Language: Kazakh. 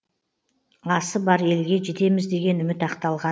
асы бар елге жетеміз деген үміт ақталған